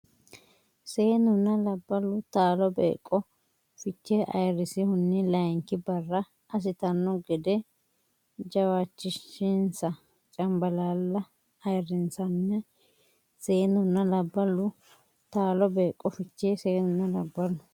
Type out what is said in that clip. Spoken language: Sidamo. Seennunna labballu taalo beeqqo Fichee ayirrinsihunni layinki barra assitanno gede jawaachishinsa Cambalaalla ayirrinsanni Seennunna labballu taalo beeqqo Fichee Seennunna labballu.